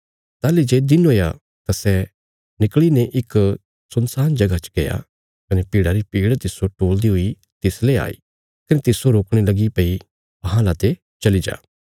ताहली जे दिन हुया तां सै निकल़ीने इक सुनसान जगह च गया कने भीड़ा री भीड़ तिस्सो टोल़दी हुई तिसले आई कने तिस्सो रोकणे लगी भई अहां लाते चली जा